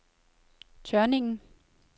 Tørninglen